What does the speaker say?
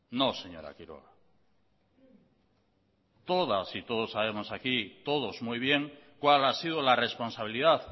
no señora quiroga todas y todos sabemos aquí todos muy bien cuál ha sido la responsabilidad